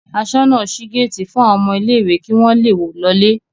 Aṣọ́nà ṣí géétì fún àwọn ọmọ ilé-ìwé kí wọ́n le lọlé.